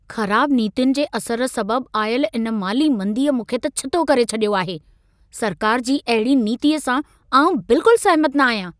ख़राब नीतियुनि जे असर सबबु आयल इन माली मंदीअ मूंखे त छितो करे छॾियो आहे। सरकार जी अहिड़ी नीतीअ सां आउं बिल्कुलु सहमति न आहियां।